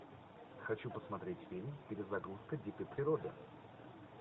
хочу посмотреть фильм перезагрузка дикой природы